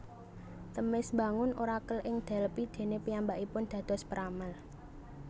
Themis mbangun Orakel ing Delphi dene piyambakipun dados peramal